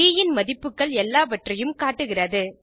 we இன் மதிப்புகள் எல்லாவற்றையும் காட்டுகிறது